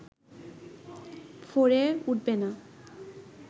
ফোরে উঠবে না